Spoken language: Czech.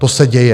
To se děje.